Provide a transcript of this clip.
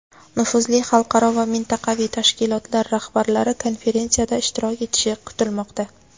nufuzli xalqaro va mintaqaviy tashkilotlar rahbarlari konferensiyada ishtirok etishi kutilmoqda.